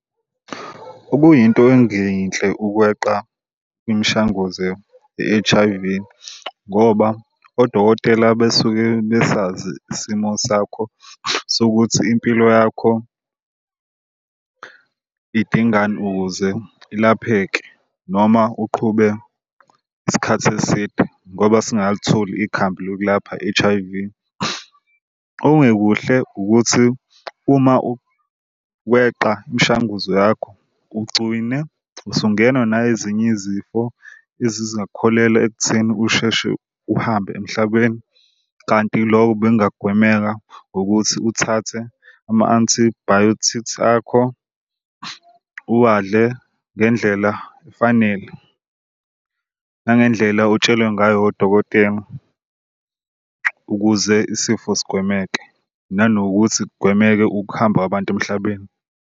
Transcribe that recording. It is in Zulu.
Okuyinto engeyinhle ukweqa imishanguze ye-H_I_V ngoba odokotela besuke besazi isimo sakho sokuthi impilo yakho idingani ukuze ilapheke noma uqhube isikhathi eside ngoba singakalitholi ikhambi lokulapha i-H_I_V. Okungekuhle ukuthi uma weqa imishanguzo yakho ugcile usungenwa na ezinye izifo ezizakholelwa ekutheni usheshe uhambe emhlabeni. Kanti loko bekungagwemeka ngokuthi uthathe ama-antibiotics akho, uwadle ngendlela efanele nangendlela otshelwe ngayo odokotela ukuze isifo sigwemeke. Nanokuthi kugwemeke ukuhamba kwabantu emhlabeni.